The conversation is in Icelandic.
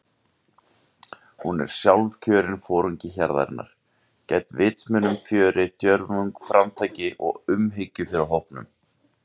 Hún er sjálfkjörinn foringi hjarðarinnar- gædd vitsmunum, fjöri, djörfung, framtaki og umhyggju fyrir hópnum.